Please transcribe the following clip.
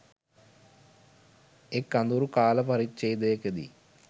එක්‌ අඳුරු කාලපරිච්ඡේදයකදී